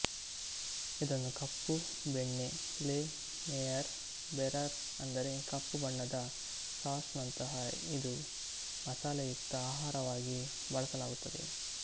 ಇದನ್ನು ಕಪ್ಪು ಬೆಣ್ಣೆ ಲೆ ನೆಯರ್ ಬೆರರ್ ಅಂದರೆ ಕಪ್ಪು ಬಣ್ಣದ ಸಾಸ್ ನಂತಹ ಇದು ಮಸಾಲೆಯುಕ್ತ ಆಹಾರವಾಗಿ ಬಳಸಲಾಗುತ್ತದೆ